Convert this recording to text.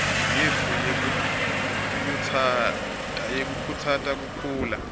yetfu yekukhutsata kukhula